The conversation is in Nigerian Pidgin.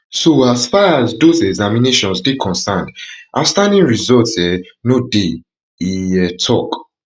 so as far as dose examinations dey concerned outstanding results um no dey e um tok